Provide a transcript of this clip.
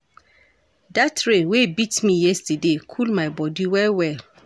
Dat rain wey beat me yesterday cool my bodi well-well.